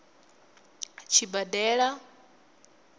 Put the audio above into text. tshibadela